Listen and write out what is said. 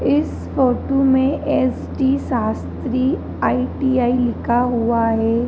इस फोटो में S T Shastri I T I लिखा हुआ है।